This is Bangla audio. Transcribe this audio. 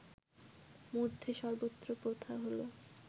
মধ্যে সর্বত্র প্রথা হলো